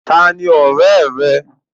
Ta ni ọ̀rẹ́ rẹ?